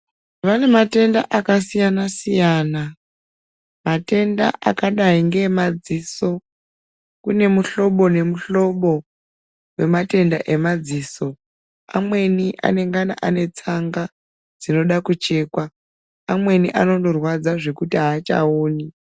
Vane matenda akasiyana siyana matenda akadai ngeemadziso kune muhlobo nemuhlobo wematenda emadziso amweni anengana ane tsanga dzinoda kuchekwa amweni anondorwadza zvekuti aachaoni.